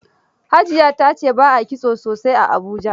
Hajiya ta ce ba a kitso sosaai a Abuja.